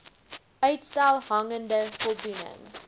uitstel hangende voldoening